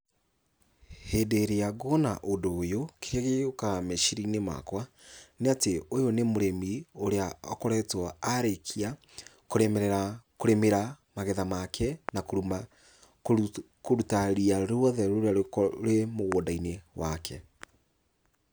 Hindĩ ĩrĩa nguona ũndũ ũyũ, kĩrĩa gĩũkaga meciria-inĩ makwa, nĩatĩ ũyũ nĩ mũrĩmi, ũrĩa akoretwo arĩkia kũrĩmĩrĩra kũrĩmĩra magetha make na kũruta ria ruothe rũrĩa rwĩ mũgũnda-inĩ wake.